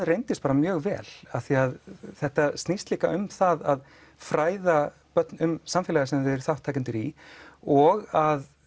reyndist mjög vel því þetta snýst líka um að fræða börn um samfélagið sem þau eru þátttakendur í og að